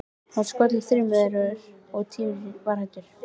Það var skollið á þrumuveður og Týri var hræddur.